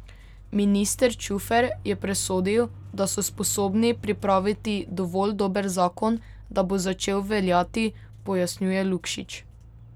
Minister Čufer je presodil, da so sposobni pripraviti dovolj dober zakon, da bo začel veljati, pojasnjuje Lukšič.